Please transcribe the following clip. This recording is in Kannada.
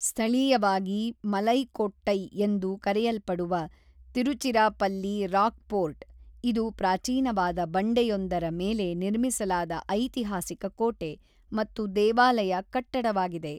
ಸ್ಥಳೀಯವಾಗಿ ಮಲೈಕೊಟ್ಟೈ ಎಂದು ಕರೆಯಲ್ಪಡುವ ತಿರುಚಿರಾಪಲ್ಲಿ ರಾಕ್‌ಫೋರ್ಟ್, ಇದು ಪ್ರಾಚೀನವಾದ ಬಂಡೆಯೊಂದರ ಮೇಲೆ ನಿರ್ಮಿಸಲಾದ ಐತಿಹಾಸಿಕ ಕೋಟೆ ಮತ್ತು ದೇವಾಲಯ ಕಟ್ಟಡವಾಗಿದೆ.